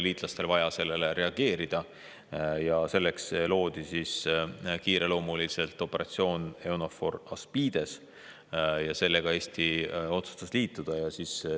Liitlastel oli vaja sellele reageerida ja selleks loodi kiireloomuliselt operatsioon EUNAVFOR ASPIDES ja sellega Eesti otsustas liituda.